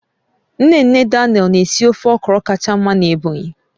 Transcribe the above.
Nne nne Daniel na-esi ofe okro kacha mma n'Ebonyi